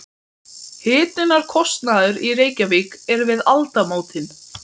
Hitunarkostnaður í Reykjavík er við aldamótin